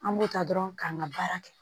An b'o ta dɔrɔn k'an ka baara kɛ